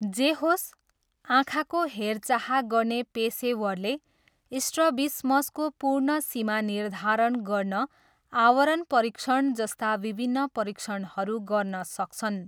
जे होस्, आँखाको हेरचाह गर्ने पेसेवरले स्ट्रबिसमसको पूर्ण सीमा निर्धारण गर्न आवरण परीक्षण जस्ता विभिन्न परीक्षणहरू गर्न सक्छन्।